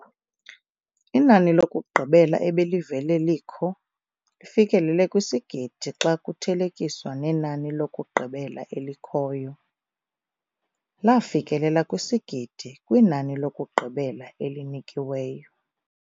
nani lokugqibela ebelivele lilkho. fikelela kwisigidi xa kuthelekiswa nenani lokugqibela elikhoyo. lafikelela kwisigidi kwinani lokugqibela elinikiweyo.